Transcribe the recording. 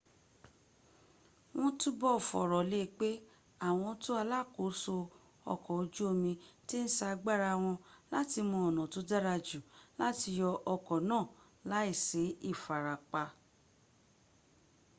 won tubo foro le pe awon to alaakoso oko oju omi ti n sa agbara won lati mo ona to dara ju lati yo oko naa laisi ifarapa